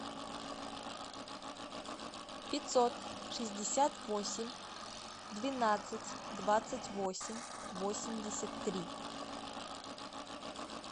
пятьсот шестьдесят восемь двенадцать двадцать восемь восемьдесят три